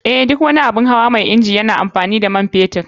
Eh, duk wani abun hawa mai inji yana amfani da man fetur.